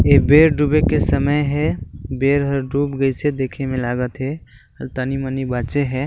ये बेल दुबे के समय हे बेल ह डूब गए छे देखे मे लगाथे तानी मनी बाचे हे।